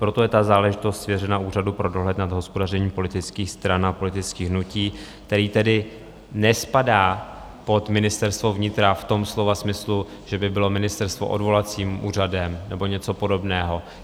Proto je ta záležitost svěřena Úřadu pro dohled nad hospodařením politických stran a politických hnutí, který tedy nespadá pod Ministerstvo vnitra v tom slova smyslu, že by bylo ministerstvo odvolacím úřadem nebo něco podobného.